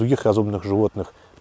других разумных животных